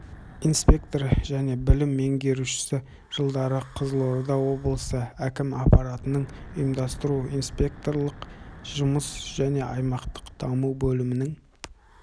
инспекторы және бөлім меңгерушісі жылдары қызылорда облысы әкімі аппаратының ұйымдастыру-инспекторлық жұмыс және аймақтық даму бөлімінің